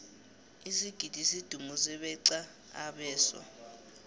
isigidi sidumuze beqa abeswa